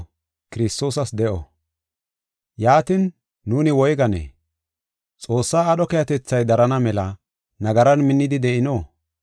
Yaatin, nuuni woyganee? Xoossaa aadho keehatethay darana mela nagaran minnidi de7ino?